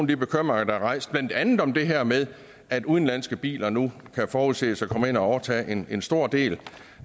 de bekymringer der er rejst blandt andet om det her med at udenlandske biler nu forudses at komme ind og overtage en en stor del